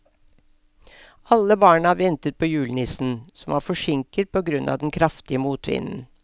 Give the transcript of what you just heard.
Alle barna ventet på julenissen, som var forsinket på grunn av den kraftige motvinden.